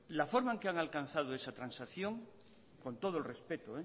la forma en que han alcanzado esa transacción con todo el respeto